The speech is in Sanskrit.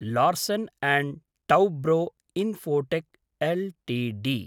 Larsen and Toubro Infotech LTD